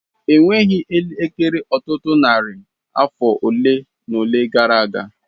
Enweghị elekere Ọtụtụ narị afọ ole na ole gara aga.